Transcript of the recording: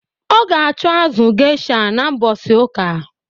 Ọ ga acho azụ gesha na mbosi uka